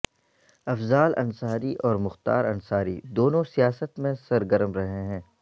افضال انصاری اور مختار انصاری دونوں سیاست میں سرگرم رہے ہیں